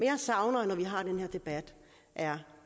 jeg savner når vi har den her debat er